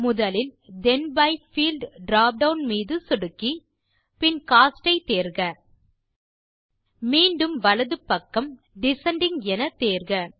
முதலில் then by field drop down மீது சொடுக்கி பின் கோஸ்ட் ஐ தேர்க மீண்டும் வலது பக்கம் டிசெண்டிங் என தேர்க